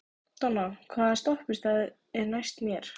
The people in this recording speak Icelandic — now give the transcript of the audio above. Donna, hvaða stoppistöð er næst mér?